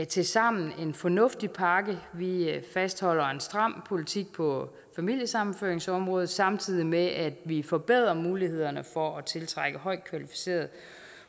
tilsammen en fornuftig pakke vi fastholder en stram politik på familiesammenføringsområdet samtidig med at vi forbedrer mulighederne for at tiltrække højt kvalificerede